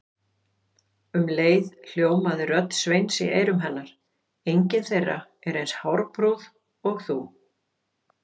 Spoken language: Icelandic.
Um leið hljómaði rödd Sveins í eyrum hennar: engin þeirra er eins hárprúð og þú